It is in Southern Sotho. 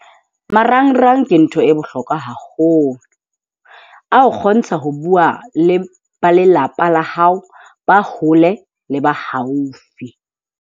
Marangrang ke ntho e bohlokwa haholo. A o kgontsha ho bua le ba lelapa la hao, ba hole le ba haufi.